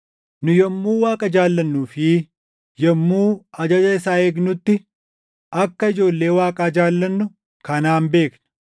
Nu yommuu Waaqa jaallannuu fi yommuu ajaja isaa eegnutti akka ijoollee Waaqaa jaallannu kanaan beekna.